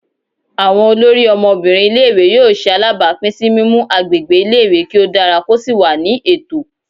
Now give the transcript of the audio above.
Awọn olórí Ọmọbinrin ilé-ìwé yóò ṣe alabapin si mimu agbègbè ilé-ìwé kí o dára ko sí wà ní ètò.